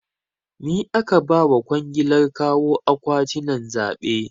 Ni aka ba wa kwangilar kawo akwatinan zaɓe